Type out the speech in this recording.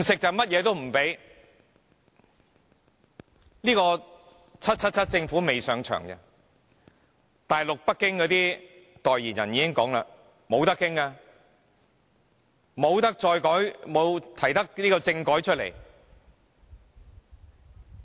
這個 "777" 政府仍未上場，大陸北京的代言人已表明沒有商榷餘地，不能再提出政改。